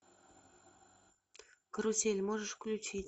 карусель можешь включить